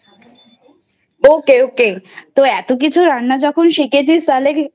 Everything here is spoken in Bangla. Ok Ok তো এত কিছু রান্না শিখেছিস তাহলে?